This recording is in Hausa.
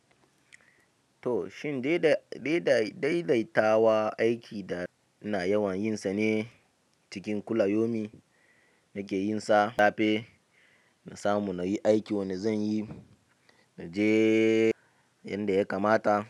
To shin daidai daidaitawa aiki da ina yawan yin sa ne cikin kula yomi nake yin sa. Dafe na samu nayi aiki wanda zanyi naje yanda ya kamata.